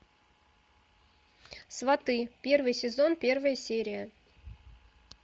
сваты первый сезон первая серия